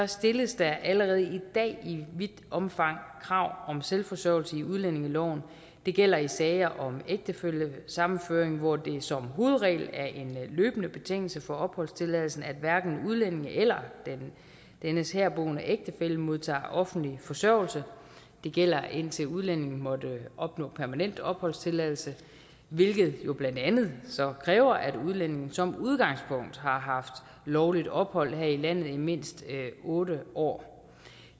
stilles der allerede i vidt omfang krav om selvforsørgelse i udlændingeloven det gælder i sager om ægtefællesammenføring hvor det som hovedregel er en løbende betingelse for opholdstilladelsen at hverken udlændinge eller dennes herboende ægtefælle modtager offentlig forsørgelse det gælder indtil udlændingen måtte opnå permanent opholdstilladelse hvilket jo blandt andet så kræver at udlændingen som udgangspunkt har haft lovligt ophold her i landet i mindst otte år